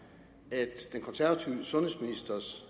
den daværende konservative sundhedsministers